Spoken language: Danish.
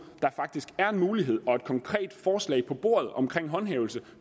der faktisk er en mulighed og et konkret forslag på bordet om håndhævelse